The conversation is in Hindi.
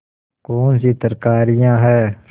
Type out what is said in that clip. कौनसी तरकारियॉँ हैं